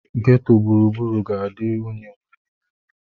Ghetto gburugburu ga-adị unyi mgbe niile.